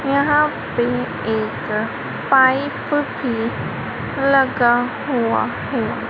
यहां पे एक पाइप लगा हुआ है।